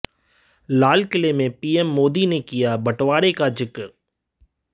लाल किले से पीएम मोदी ने किया बंटवारे का जिक्र